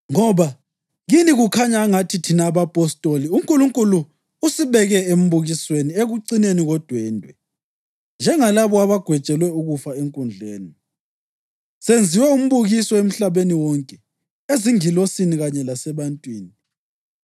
Ngoba kini kukhanya angathi thina abapostoli uNkulunkulu usibeke embukisweni ekucineni kodwendwe, njengalabo abagwetshelwe ukufa enkundleni. Senziwe umbukiso emhlabeni wonke, ezingilosini kanye lasebantwini.